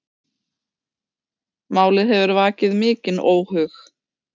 Málið hefur vakið mikinn óhug